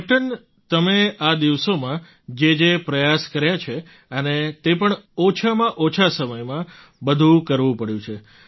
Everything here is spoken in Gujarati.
કેપ્ટન તમે આ દિવસોમાં જે જે પ્રયાસ કર્યા છે અને તે પણ ઓછામાં ઓછા સમયમાં બધું કરવું પડ્યું છે